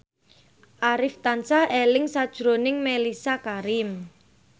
Arif tansah eling sakjroning Mellisa Karim